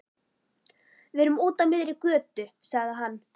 Við erum úti á miðri götu, sagði hann.